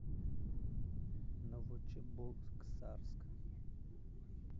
новочебоксарск